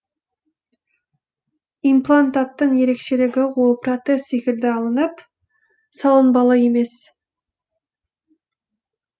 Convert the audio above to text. имплантаттың ерекешелігі ол протез секілді алынып салынбалы емес